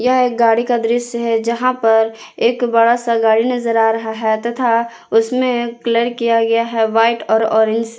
यह एक गाड़ी का दृश्य है जहां पर एक बड़ा सा गाड़ी नजर आ रहा है तथा उसमें कलर किया गया है व्हाइट और ऑरेंज से।